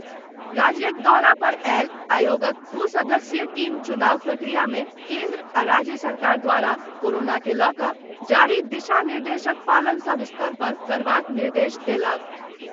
राज्यक दौरा पर आयल आयोगक दू सदस्यीय टीम चुनाव प्रक्रिया में केन्द्र आ राज्य सरकार द्वारा कोरोना के लऽकऽ जारी दिशा निर्देशक पालन सब स्तर पर करबाक निर्देश देलक।